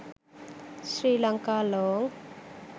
sri lanka long